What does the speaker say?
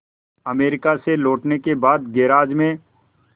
America से लौटने के बाद गैराज में